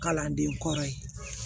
Kalanden kɔrɔ ye